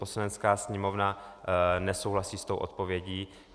Poslanecká sněmovna nesouhlasí s tou odpovědí.